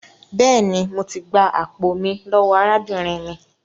Béèni, mọ tí gbà àpò mí lówó arábìnrin mí.